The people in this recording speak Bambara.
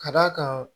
Ka d'a kan